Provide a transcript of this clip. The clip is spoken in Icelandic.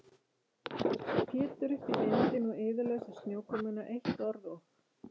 Pétur upp í vindinn og iðulausa snjókomuna, eitt orð og